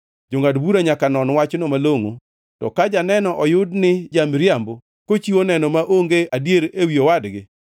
Jongʼad bura nyaka non wachno malongʼo, to ka janeno oyud ni ja-miriambo kochiwo neno maonge adier ewi owadgi,